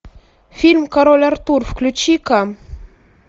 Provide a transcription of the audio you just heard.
фильм король артур включи ка